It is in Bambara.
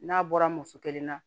N'a bɔra muso kelen na